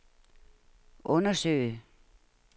undersøge